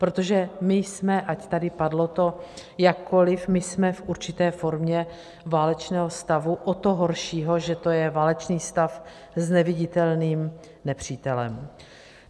Protože my jsme, ať tady padlo to jakkoliv, my jsme v určité formě válečného stavu, o to horšího, že to je válečný stav s neviditelným nepřítelem.